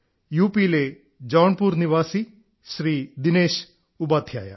U പിയിലെ ജോൺപുർ നിവാസി ശ്രീ ദിനേശ് ഉപാധ്യായ